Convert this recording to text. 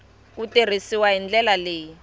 ku tirhisiwa hi ndlela leyi